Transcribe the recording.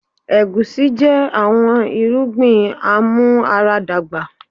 Egusi jẹ awọn irugbin amuaradagba